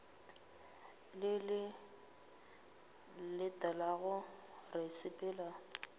le le latelago ra sepela